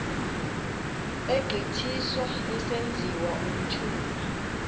egqithiswa esenziwa umthunywa